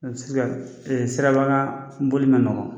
sisan ,siraba kan boli ma nɔgɔn.